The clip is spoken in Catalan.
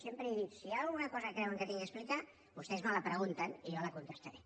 sempre he dit si hi ha alguna cosa que creuen que haig d’explicar vostès me la pregunten i jo la contestaré